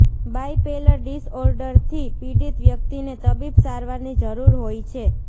bipolar ડિસઓર્ડરથી પીડિત વ્યક્તિને તબીબી સારવારની જરૂર હોય છે